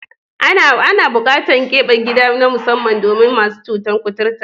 Ana buƙatar keɓe gida na musamman domin masu cutar kuturta.